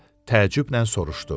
Deyə təəccüblə soruşdu.